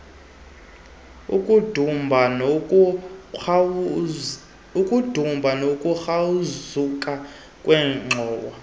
ukudumba nokukrazuka kweengxowa